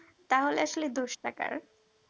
তাহলে আসলে দোষটা কার